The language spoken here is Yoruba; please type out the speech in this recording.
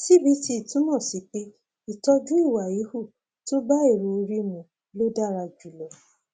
cbt túmọ sí pé ìtọjú ìwà híhù tó bá èrò orí mu ló dára jùlọ